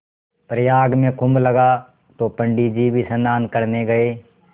प्रयाग में कुम्भ लगा तो पंडित जी भी स्नान करने गये